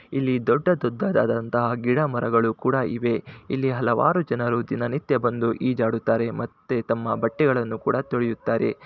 ಇಲ್ಲಿ ದೊಡ್ಡದಾದಂತಹ ಗಿಡ ಮರಗಳು ಕೂಡ ಇವೆ ಇಲ್ಲಿ ಹಲವಾರು ಜನರು ದಿನನಿತ್ಯ ಬಂದು ಈಜಾಡುತ್ತಾರೆ ಮತ್ತೆ ತಮ್ಮ ಬಟ್ಟೆಗಳನ್ನು ಕೂಡ ತೊಳೆಯುತ್ತಾರೆ.